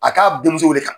A k'a denmuso wele ka